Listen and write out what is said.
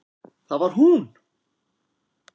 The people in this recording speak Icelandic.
Það var hún!